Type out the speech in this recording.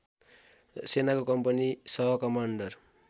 सेनाको कम्पनी सहकमान्डर